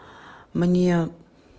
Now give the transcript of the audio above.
мне